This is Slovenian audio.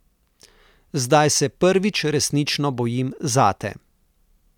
Zdaj se prvič resnično bojim zate.